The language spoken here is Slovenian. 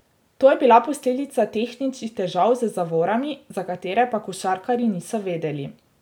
To je bila posledica tehničnih težav z zavorami, za katere pa košarkarji niso vedeli.